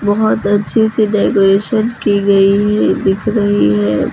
बोहोत अच्छी सी डेकोरेशन की गई है दिख रही है।